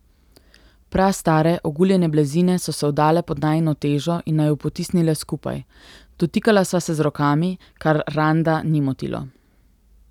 Prastare, oguljene blazine so se vdale pod najino težo in naju potisnile skupaj, dotikala sva se z rokami, kar Randa ni motilo.